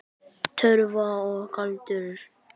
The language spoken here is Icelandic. Töfrar og galdur.